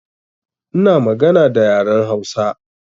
Ina magana da yaren Hausa